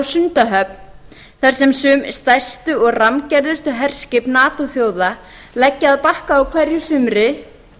sundahöfn þar sem sum stærstu og rammgerðustu herskip natoþjóða leggja að bakka á hverju sumri